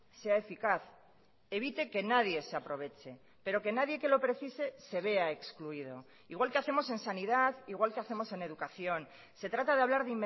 sea eficaz evite que nadie se aproveche pero que nadie que lo precise se vea excluido igual que hacemos en sanidad igual que hacemos en educación se trata de hablar